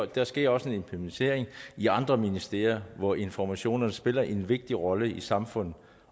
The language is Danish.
der sker også en implementering i andre ministerier hvor informationer spiller en vigtig rolle for samfundet